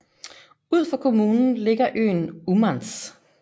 Ud for kommunen ligger øen Ummanz